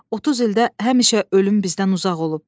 30 ildə həmişə ölüm bizdən uzaq olub.